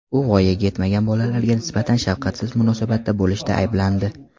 U voyaga yetmagan bolalarga nisbatan shafqatsiz munosabatda bo‘lishda ayblandi.